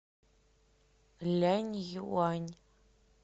ляньюань